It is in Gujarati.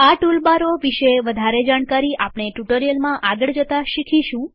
આ ટૂલ બારો વિશે વધારે જાણકારી આપણે ટ્યુટોરીયલમાં આગળ જતા શીખીશું